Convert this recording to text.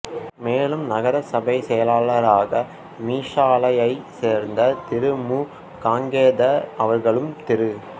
மேலும் நகர சபைச் செயலாளராக மீசாலையைச் சேர்ந்த திரு மு காங்கேத அவர்களும் திரு